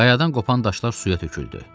Qayadan qopan daşlar suya töküldü.